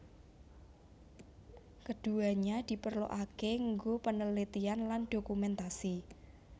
Keduanya diperluake nggo penelitian lan dokumentasi